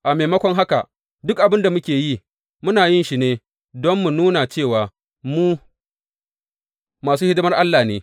A maimakon haka, duk abin da muke yi, muna yin shi ne don mu nuna cewa mu masu hidimar Allah ne.